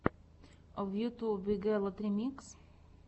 в ютьюбе гелот ремикс